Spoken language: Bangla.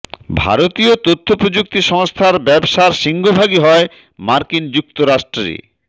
ভারতীয় তথ্য প্রযুক্তি সংস্থার ব্যবসার সিংহভাগই হয় মার্কিন যুক্তরাষ্ট্রে